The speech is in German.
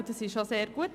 Das ist auch sehr gut.